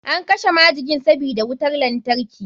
An kashe majikin sabida wutar lantarki.